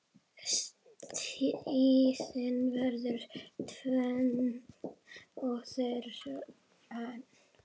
Tíðin verður tvenn og þrenn.